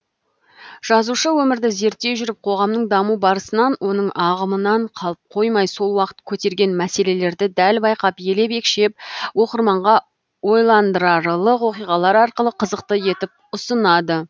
жазушы өмірді зерттей жүріп қоғамның даму барысынан оның ағымынан қалып қоймай сол уақыт көтерген мәселелерді дәл байқап елеп екшеп оқырманға ойландырарлық оқиғалар арқылы қызықты етіп ұсынады